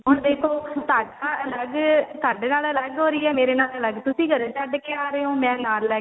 ਹੁਣ ਦੇਖੋ ਤੁਹਾਡਾ ਅਲੱਗ ਤੁਹਾਡੇ ਨਾਲ ਅਲੱਗ ਹੋ ਰਹੀ ਹੈ ਮੇਰੇ ਨਾਲ ਅਲੱਗ ਤੁਸੀਂ ਘਰੇ ਛੱਡ ਕੇ ਆ ਰਹੇ ਹੋ ਮੈਂ ਨਾਲ ਲੈ